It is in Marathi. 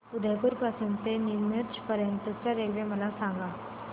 उदयपुर पासून ते नीमच पर्यंत च्या रेल्वे मला सांगा